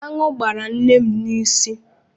Aṅụ gbara nne m n'isi.